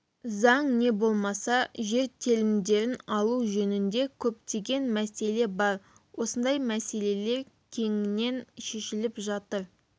заң не болмаса жер телімдерін алу жөнінде көптеген мәселе бар осындай мәселелер кеңінен шешіліп жатыр